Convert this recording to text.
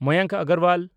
Mayank Agarwal